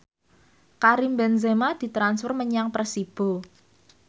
Karim Benzema ditransfer menyang Persibo